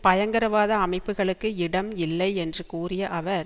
பயங்கரவாத அமைப்புக்களுக்கு இடம் இல்லை என்று கூறிய அவர்